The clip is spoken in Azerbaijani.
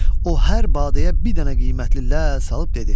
O hər badəyə bir dənə qiymətli ləl salıb dedi: